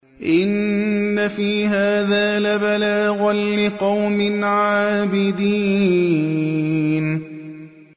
إِنَّ فِي هَٰذَا لَبَلَاغًا لِّقَوْمٍ عَابِدِينَ